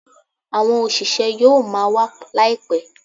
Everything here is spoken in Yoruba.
Àwọn òṣìṣẹ́ yóò máa wa laipẹ